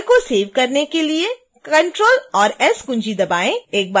file को save करने के लिए ctrl और s कुंजी दबाएं